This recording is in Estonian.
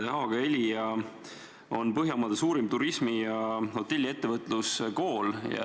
Haaga-Helia on Põhjamaade suurim turismi- ja hotelliettevõtluskool.